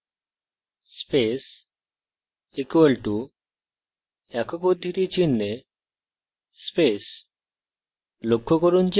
char space = একক উদ্ধৃতি চিনহে space